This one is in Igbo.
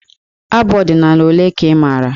Abụ ọdịnaala ole ka ị maara?